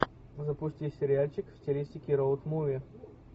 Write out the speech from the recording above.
запусти сериальчик в стилистике роуд муви